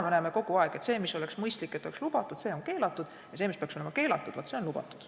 Me näeme kogu aeg, et see, mida oleks mõistlik lubada, on keelatud, ja see, mis peaks olema keelatud, vaat see on lubatud.